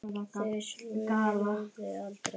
Þau svöruðu aldrei.